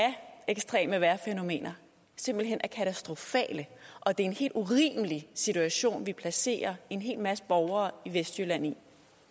ekstreme vejrfænomener simpelt hen er katastrofale og det er en helt urimelig situation vi placerer en hel masse borgere i vestjylland